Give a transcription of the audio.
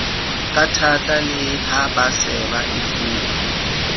kathata le ha baseba efuwa